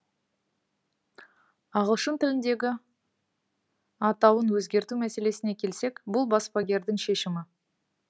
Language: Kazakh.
ағылшын тіліндегі атауын өзгерту мәселесіне келсек бұл баспагердің шешімі